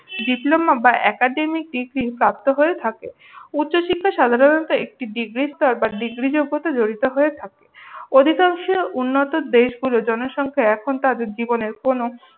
diploma বা academic thesis প্রাপ্ত হয়ে থাকে। উচ্চশিক্ষা সাধারণত ডিগ্রিস্তর বা ডিগ্রি জগতে জড়িত হয়ে থাকে। অধিকাংশ উন্নত দেশগুলো জনসংখ্যা এখন তাদের জীবনের কোনও